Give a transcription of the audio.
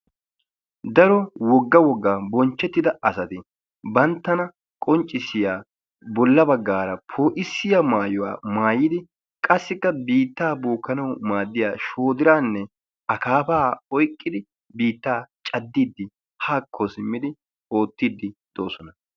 Daro wogga wogga bonchchehttida asati banttana qonccissiya bolla baggaara poo'issiya maayuwa maayid qassikka biittaa bookkanawu maaddiya shoodiraanne akaafaa oyqqidi biittaa caddiiddi haakko simmidi oottitiyddi doosona.